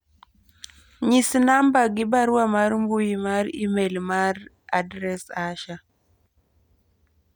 nyis namba gi barua mar mbui mar email mar adres Asha